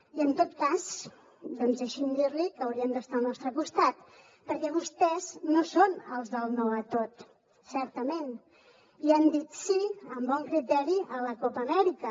i en tot cas doncs deixi’m dir li que haurien d’estar al nostre costat perquè vostès no són els del no a tot certament i han dit sí amb bon criteri a la copa amèrica